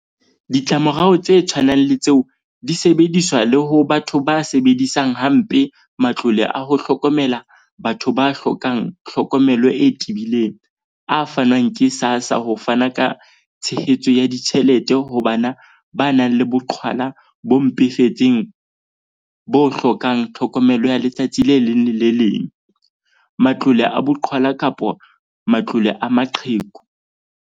Ditlamorao tse tshwanang le tseo di sebediswa le ho batho ba sebedisang ha mpe matlole a ho hlokomela batho ba hlokang hlokomelo e tebileng - a fanwang ke SASSA ho fana ka tshehetso ya ditjhelete ho bana ba nang le boqhwala bo mpefetseng bo hlokang tlhokomelo ya letsatsi le leng le le leng, matlole a boqhwala kapa matlole a maqheku.